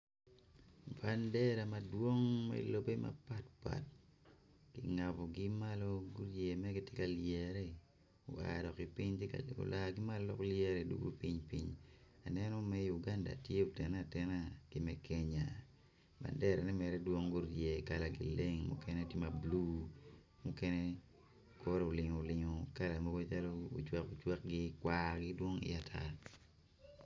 Bandera madwong me lobbe mapat pat kingabogi malo gitye ka lyere oa ki malo dugo piny piny aneno me Uganda ki me Kenya banderane mere dwong gurye kalagi leng mukene tye ma blue mukene kore olingo olingo kala mogo calo ocwak ocwakgi kwargi dwong iye ata.